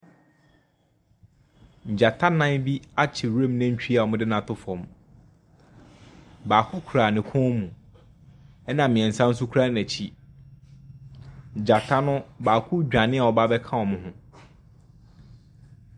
Gyata nnan bi akye nwura mu nantwi a ɔmo de no ato fam. Baako kura ne kɔn mu. Ɛna mmiɛnsa so kura n'akyi. Gyata no baako dwane a ɔba abɛka ɔmo ho.